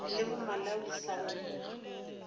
le bo malawi sa go